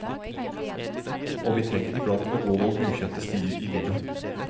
Og vi trenger iblant å gå noen ukjente stier i livet.